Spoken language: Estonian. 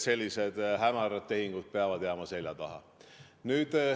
Sellised hämarad tehingud peavad jääma seljataha.